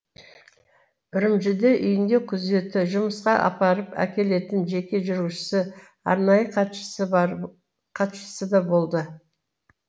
үрімжіде үйінде күзеті жұмысқа апарып әкелетін жеке жүргізушісі арнайы хатшысы да болды